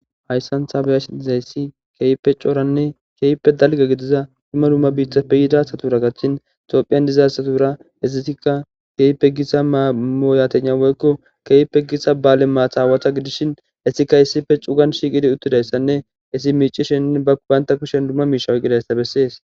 hayssantha beyashi izayssi keype cooranne keype dalge gidiza duma dumma biitha peyidasatura kachin xophiyan dizasatura ezitikka keyipe gisa maamoyatena woykko keype gisa baale maataawata gidishin esika issife cugan shiqidi uttidayssanne isi miicishenne ba ubaynta kushen dumma miisha woyqidayssa bessees